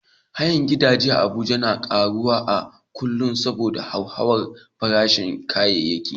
Hayan gidaje a Abuja na karuwa a kullum saboda hauhawar farashin kayayyaki.